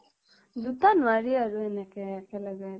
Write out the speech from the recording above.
দুটা নোৱাৰি আৰু এনেকে একেলগে